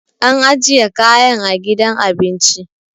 an ajiya kayan a gidan abinci